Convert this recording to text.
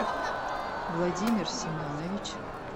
владимир семенович